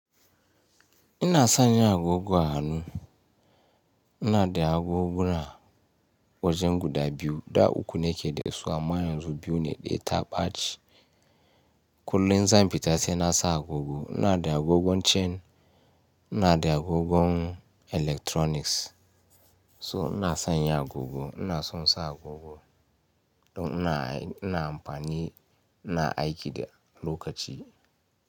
Ina son yin agogo a hannu. Ina da agogona wajen guda biyu da uku ne ke da su amma yan zu biyu ne ɗaya ta ɓace. Kullum zan fita sai nasa agogo. Ina da agogon chain, ina da agogon electronics. So ina sanya agogo, ina son sa agogo don ina amfani ina aiki da lokaci.